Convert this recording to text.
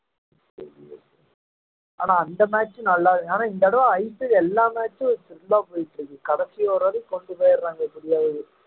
ஆனா அந்த match நல்லா ஆனா இந்த தடவை IPL எல்லா match உம் full ஆ போயிட்டு கடைசி over வரைக்கும் கொண்டு போயிடுறாங்க எப்படியாவது